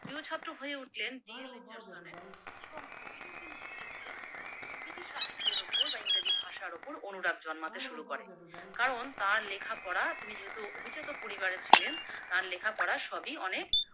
প্রিয় ছাত্র হয়ে উঠলেন ডি. এল. রিচার্ডসনের এবং কবির ও কিন্তু ধীরে ধীরে ইংরেজি সাহিত্যের ওপর বা ইংরেজি ভাষার ওপর অনুরাগ জন্মাতে শুরু করে, কারণ তার লেখা পড়া তিনি যেহেতু অভিজাত পরিবারের ছিলেন তার লেখা পড়া সবই অনেক